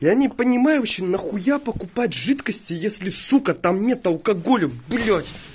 я не понимаю вообще нахуя покупать жидкости если сука там нет алкоголя блять